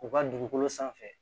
U ka dugukolo sanfɛ